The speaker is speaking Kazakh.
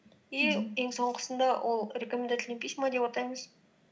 и ең соңғысында ол рекомендательные письма деп атаймыз